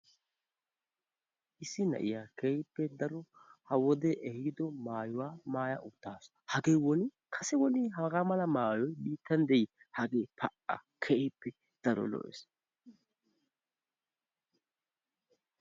Issi na'iyaa keehippe daro ha wodee ehiido maayuwa maaya uttaasu. Hagee woni kase woni hagaa mala maayoyi biittan dii! Hagee pa"a! Keehippe daro lo"ees.